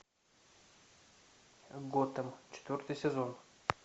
готэм четвертый сезон